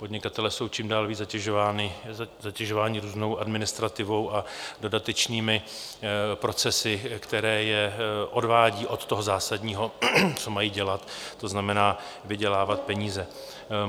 Podnikatelé jsou čím dál víc zatěžováni různou administrativou a dodatečnými procesy, které je odvádí od toho zásadního, co mají dělat, to znamená, vydělávat peníze.